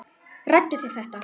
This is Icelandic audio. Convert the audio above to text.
Ræddu þið þetta?